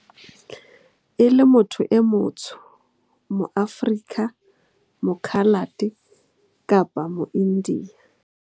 E le motho e motsho mo-Aforika, moKhalate kapa mo-Indiya.